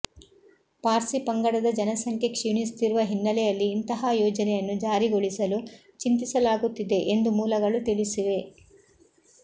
ಪಾರ್ಸಿ ಪಂಗಡದ ಜನಸಂಖ್ಯೆ ಕ್ಷೀಣಿಸುತ್ತಿರುವ ಹಿನ್ನೆಲೆಯಲ್ಲಿ ಇಂತಹ ಯೋಜನೆಯನ್ನು ಜಾರಿಗೊಳಿಸಲು ಚಿಂತಿಸಲಾಗುತ್ತಿದೆ ಎಂದು ಮೂಲಗಳು ತಿಳಿಸಿವೆ